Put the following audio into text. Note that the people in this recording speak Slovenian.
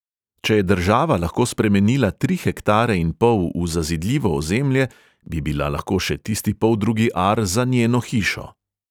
Če je država lahko spremenila tri hektare in pol v zazidljivo ozemlje, bi bila lahko še tisti poldrugi ar za njeno hišo.